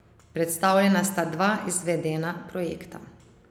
Predstavljena sta dva izvedena projekta.